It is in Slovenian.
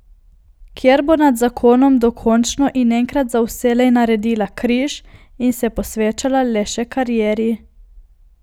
Kjer bo nad zakonom dokončno in enkrat za vselej naredila križ in se posvečala le še karieri.